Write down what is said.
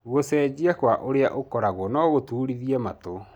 Gũcejia kwa ũrĩa ũkoragwo no gũturithie matũ.